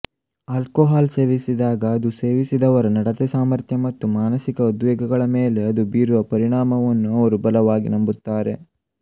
alcohol ಸೇವಿಸಿದಾಗ ಅದು ಸೇವಿಸಿದವರ ನಡತೆಸಾಮರ್ಥ್ಯ ಮತ್ತು ಮಾನಸಿಕ ಉದ್ವೇಗಗಳ ಮೇಲೆ ಅದು ಬೀರುವ ಪರಿಣಾಮವನ್ನು ಅವರು ಬಲವಾಗಿ ನಂಬುತ್ತಾರೆ